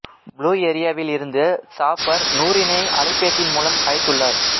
blue ஏரியாவில் இருந்து சாபர் நூரினை அழைபேசியின் மூலம் அழைத்துள்ளார்